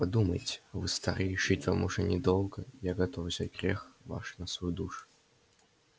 подумайте вы стары жить вам уж недолго я готов взять грех ваш на свою душу